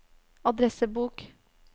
adressebok